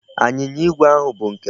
Anyịnya igwe ahụ bụ nke m.